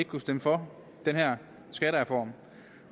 kunne stemme for den her skattereform